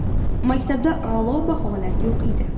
Maktabda a’lo baholarga o‘qiydi.